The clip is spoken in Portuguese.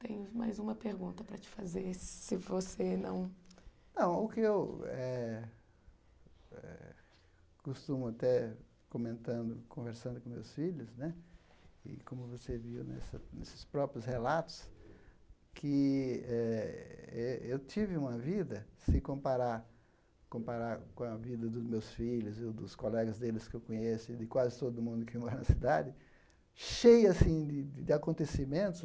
Temos mais uma pergunta para te fazer, se você não... Não, o que eu eh eh costumo até comentando, conversando com meus filhos né, e como você viu nesses próprios relatos, que eh eh eu tive uma vida, se comparar comparar com a vida dos meus filhos e dos colegas deles que eu conheço e de quase todo mundo que mora na cidade, cheia, assim, de de acontecimentos,